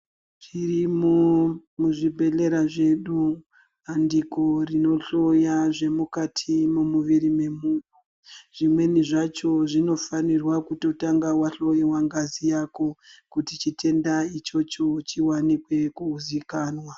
Tirimuzvibhedhlera zvedu, bandiko rinohloya zvemukati momuviri me munhu, zvimweni zvacho zvinofanirwa kutotanga wahlowiwa ngazi yako, kuti chitenda ichocho chiwanikwe kuzikanwa.